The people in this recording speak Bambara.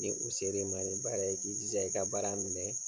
Ni u ser'i man nin baara ye i k'i jija i ka baara minɛ